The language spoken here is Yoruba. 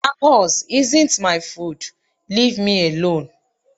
Tacos isn't my food, leave me alone.